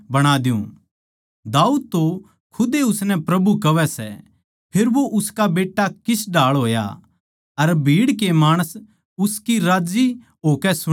दाऊद तो खुद ए उसनै प्रभु कहवै सै फेर वो उसका बेट्टा किस ढाळ होया अर भीड़ के माणस उसकी राज्जी होकै सुणै थे